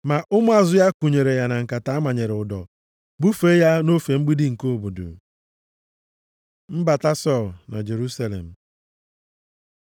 Ma ụmụazụ ya kunyere ya na nkata amanyere ụdọ bufee ya nʼofe mgbidi nke obodo. Mbata Sọl na Jerusalem